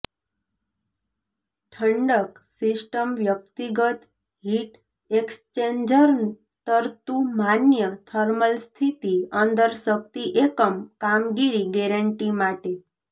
ઠંડક સિસ્ટમ વ્યક્તિગત heat exchanger તરતું માન્ય થર્મલ સ્થિતિ અંદર શક્તિ એકમ કામગીરી ગેરેંટી માટે